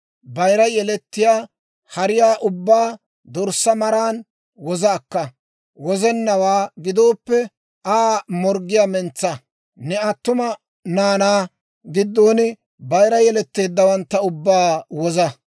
Bayira yelettiyaa hariyaa ubbaa dorssaa maraan woza akka. Wozennawaa gidooppe, Aa morggiyaa mentsa; ne attuma naanaa giddon bayira yeletteeddawantta ubbaa woza.